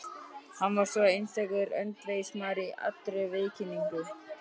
Hann var einstakur öndvegismaður í allri viðkynningu.